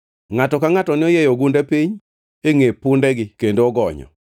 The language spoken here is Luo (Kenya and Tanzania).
Ngʼato ka ngʼato noyieyo ogunde piny e ngʼe pundegi kendo ogonyo.